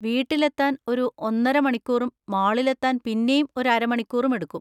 വീട്ടിലെത്താൻ ഒരു ഒന്നര മണിക്കൂറും മാളിലെത്താൻ പിന്നേം ഒരു അര മണിക്കൂറും എടുക്കും.